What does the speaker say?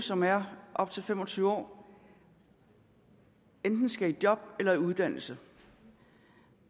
som er op til fem og tyve år enten skal i job eller i uddannelse